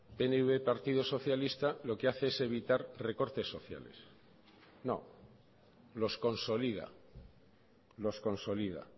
pnv partido socialista lo que hace es evitar recortes sociales no los consolida los consolida